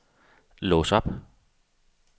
lås op